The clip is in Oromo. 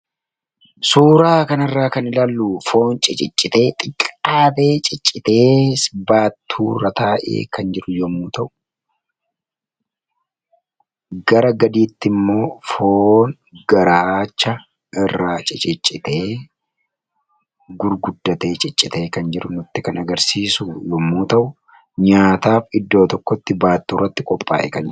Suuraa kanarraa kan ilaallu foon ciccitee xixiqqaatee baattuurra taa'ee jiru yommuu ta'u, gara gadiitti immoo foon garaacha irraa ciccitee gurguddatee kan ciccitee jiru kan agarsiisu yommuu ta'u, nyaataaf baattuurratti iddoo tokkotti kan qophaayedha.